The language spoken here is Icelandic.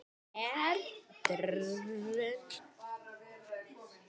Hún er